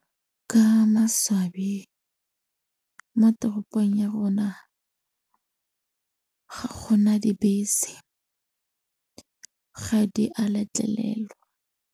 Ka maswabi, mo toropong ya rona ga go na dibese, ga di a letlelelwa.